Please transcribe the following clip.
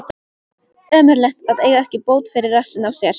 Ömurlegt að eiga ekki bót fyrir rassinn á sér.